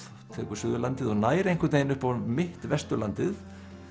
tekur Suðurlandið og nær einhvern veginn upp á mitt Vesturlandið